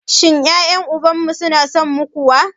Shin ƴaƴen uban mu su na son mu kuwa?